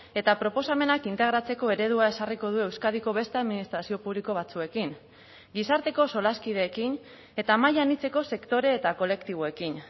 eta proposamenak integratzeko eredua ezarriko du euskadiko beste administrazio publiko batzuekin gizarteko solaskideekin eta maila anitzeko sektore eta kolektiboekin